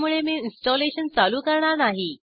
त्यामुळे मी इन्स्टॉलेशन चालू करणार नाही